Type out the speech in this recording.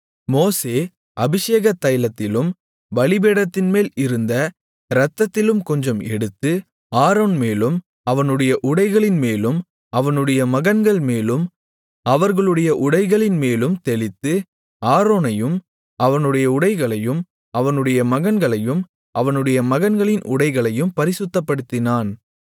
மோசே அபிஷேகத்தைலத்திலும் பலிபீடத்தின்மேல் இருந்த இரத்தத்திலும் கொஞ்சம் எடுத்து ஆரோன்மேலும் அவனுடைய உடைகளின்மேலும் அவனுடைய மகன்கள்மேலும் அவர்களுடைய உடைகளின்மேலும் தெளித்து ஆரோனையும் அவனுடைய உடைகளையும் அவனுடைய மகன்களையும் அவனுடைய மகன்களின் உடைகளையும் பரிசுத்தப்படுத்தினான்